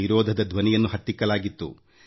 ವಿರೋಧದ ಧ್ವನಿಯನ್ನು ಹತ್ತಿಕ್ಕಲಾಗಿತ್ತು